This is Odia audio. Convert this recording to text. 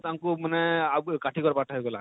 ତାଙ୍କୁ ମାନେ ଅଁ ଆବ କାଠି କର ପାଠ ହେଇ ଗଲା,